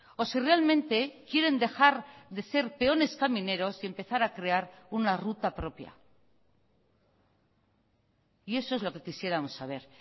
o si realmente quieren dejar de ser peones camineros y empezar a crear una ruta propia y eso es lo que quisiéramos saber